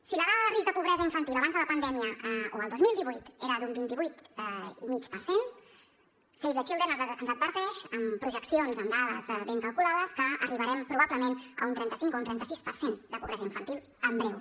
si la dada de risc de pobresa infantil abans de la pandèmia o el dos mil divuit era d’un vint vuit i mig per cent save the children ens adverteix amb projeccions amb dades ben calculades que arribarem probablement a un trenta cinc o un trenta sis per cent de pobresa infantil en breu